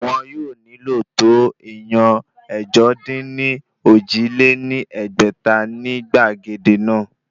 Wọ́n yóò nílò tó èèyàn ẹ̀jọ-dín-ní-ojì lé ní ẹgbẹ́ta ní gbàgede náà